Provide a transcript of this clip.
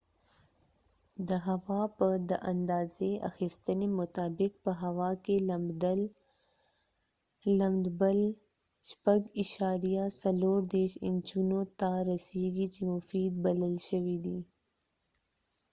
د هوا په د اندازی اخیستنی مطابق په هوا کې لمدبل 6.34 انچونو ته رسیږی چې مفید بلل شوي دي